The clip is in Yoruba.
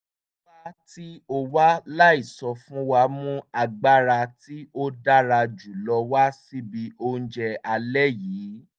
wíwá tí o wá láìsọ fún wa mú agbára tí ó dára jù lọ wá síbi oúnjẹ alẹ́ yìí